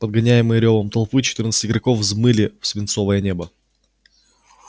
подгоняемые рёвом толпы четырнадцать игроков взмыли в свинцовое небо